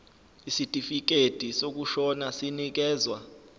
isitifikedi sokushona sinikezwa